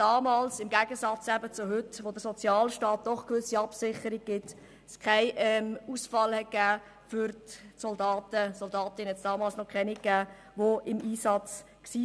Damals gab es im Gegensatz zu heute, wo der Sozialstaat doch eine gewisse Absicherung gewährleistet, keinen Ausfall für die Soldaten – Soldatinnen gab es damals noch keine –, die im Einsatz waren.